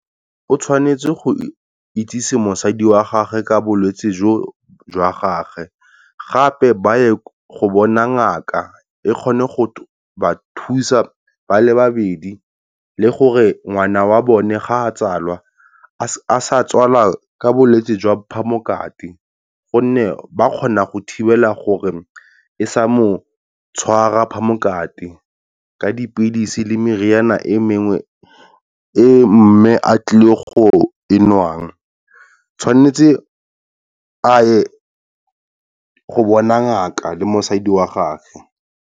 O tshwanetse go itsisi mosadi wa gagwe ka bolwetse jo jwa gage. Gape ba ye go bona ngaka e kgone go ba thusa ba le babedi, le gore ngwana wa bone ga a tswalwa a sa tswala ka bolwetsi jwa phamokate. Gonne ba kgona go thibela gore e sa mo tshwara phamokate, ka dipilisi le modiri yana e mengwe e mme a tlile go e nwa, tshwanetse a ye go bona ngaka le mosadi wa gagwe.